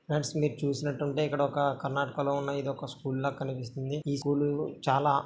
Friends మీరు చూసినట్టయితే ఇదొక కర్ణాటక లో ఉన్న ఒక స్కూల్ లా కనిపిస్తుంది. ఈ స్కూలు చాలా --